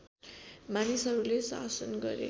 मानिसहरूले शासन गरे